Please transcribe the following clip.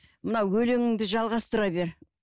мына өлеңіңді жалғастыра бер